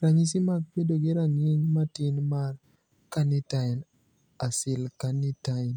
Ranyisi mag bedo gi rang`iny matin mar Carnitine acylcarnitine